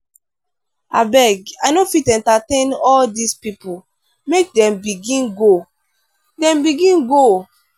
abeg i no fit entertain all dese pipo make dem begin go. dem begin go.